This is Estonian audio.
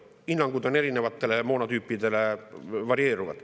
Hinnangud erinevatele moonatüüpidele varieeruvad.